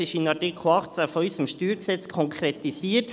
Es ist im Artikel 18 unseres StG konkretisiert.